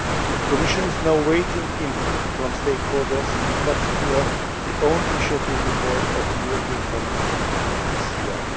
it. The Commission is now awaiting input from stakeholders, in particular the own initiative report of the European Parliament on